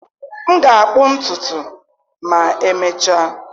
M ga-akpụ ntutu ma emechaa